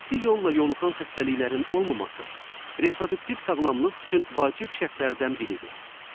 Cinsi yolla yoluxan xəstəliklərin olmaması reproduktiv sağlamlıq üçün vacib şərtlərdən biridir.